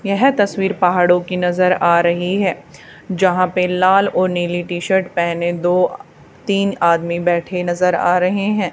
यह तस्वीर पहाड़ों की नजर आ रही है जहां पे लाल और नीले शर्ट पहने दो अ आ तीन आदमी बैठे नजर आ रहे है।